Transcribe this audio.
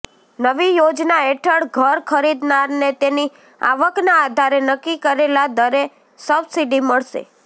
નવી યોજના હેઠળ ઘર ખરીદનારને તેની આવકના આધારે નક્કી કરેલા દરે સબસિડી મળશે